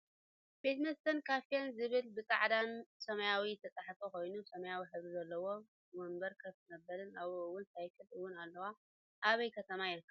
ቤት መስተን ካፌን ዝብል ብፃዕዳን ሰማያዊ ዝተፅሓፈ ኮይኑ ሰማያዊ ሕብሪ ዘለዎ ወንበር ከፍ መበልን ኣብኡ እውን ሳይክል እውን ኣለዋ ኣበይ ከተማ ይርከብ?